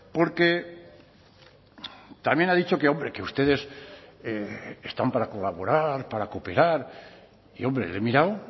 porque también ha dicho que hombre que ustedes están para colaborar para cooperar y hombre le he mirado